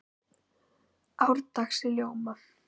árdags í ljóma